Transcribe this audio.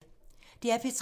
DR P3